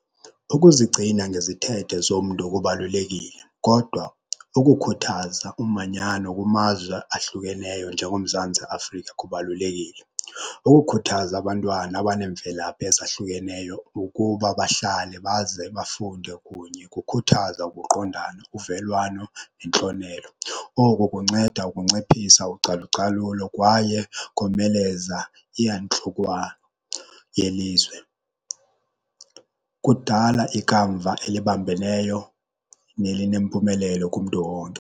Ukuzigcina ngezithethe zomntu kubalulekile kodwa ukukhuthaza umanyano kumazwe ahlukeneyo njengoMzantsi Afrika kubalulekile. Ukukhuthaza abantwana abaneemvelaphi ezahlukeneyo ukuba bahlale baze bafunde kunye kukhuthaza ukuqondana, uvelwano nentlonelo. Oko kunceda ukunciphisa ucalucalulo kwaye komeleza iyantlukwano yelizwe, kudala ikamva elibambeneyo nelinempumelelo kumntu wonke.